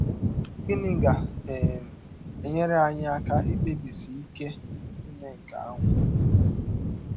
Gịnị ga - um enyere anyị aka ikpebisi ike ime nke ahụ?